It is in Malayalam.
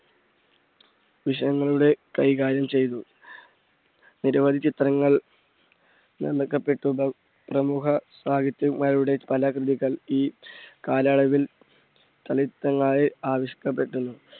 വിഷയങ്ങളുടെ കൈകാര്യം ചെയ്തു. നിരവധി ചിത്രങ്ങൾ നിർമിക്കപ്പെട്ടതായി പ്രമുഖ സാഹിത്യകാരുടെ പല കൃതികൾ ഈ കാലയളവിൽ ചലച്ചിത്രമായി ആവിഷ്കരിക്കപ്പെട്ടിരുന്നു.